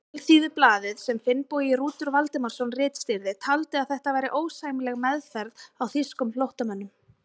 Alþýðublaðið, sem Finnbogi Rútur Valdimarsson ritstýrði, taldi að þetta væri ósæmileg meðferð á þýskum flóttamönnum.